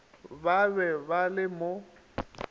ba be ba le mo